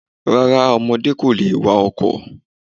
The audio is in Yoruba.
Rárá ọmọdé kò lè wa ọkọ̀.